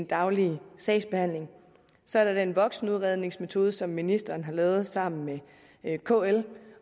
daglige sagsbehandling så er der den voksenudredningsmetode som ministeren har lavet sammen med kl